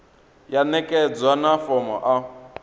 ya ṋekedzwa na fomo a